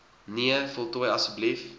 nee voltooi asb